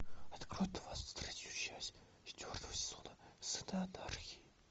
открой двадцать третью часть четвертого сезона сыны анархии